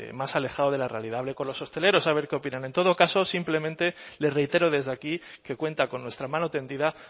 más alejado de la realidad hable con los hosteleros a ver qué opinan en todo caso simplemente le reitero desde aquí que cuenta con nuestra mano tendida